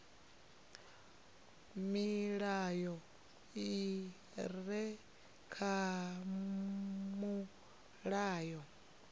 milayo i re kha mulayo